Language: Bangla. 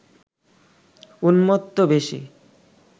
উম্মত্ত বেশে